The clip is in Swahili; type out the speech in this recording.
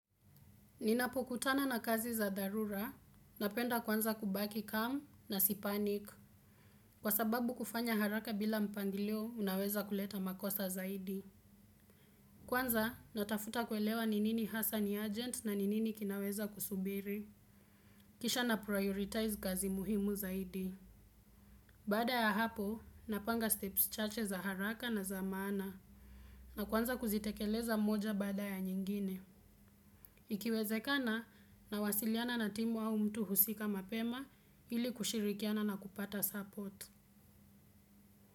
Ninapo kutana na kazi za dharura, napenda kwanza kubaki calm na si panic. Kwa sababu kufanya haraka bila mpangilio kunaweza kuleta madhara zaidi. Kwanza natafuta kuelewa ni nini hassa ni agent na ni nini kinaweza kusubiri. Kisha na prioritize kazi muhimu zaidi. Baada ya hapo, napanga steps chache za haraka na za mana. Na kwanza kuzitekeleza moja baada ya nyingine. Ikiwezekana nawasiliana na timu au mtu husika mapema ili kushirikiana na kupata support.